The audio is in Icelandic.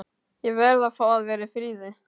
Ég verð að fá að vera í friði.